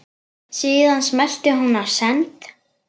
Síðan smellti hún á send.